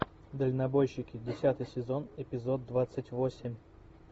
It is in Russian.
дальнобойщики десятый сезон эпизод двадцать восемь